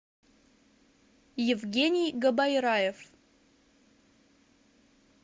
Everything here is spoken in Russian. евгений габайраев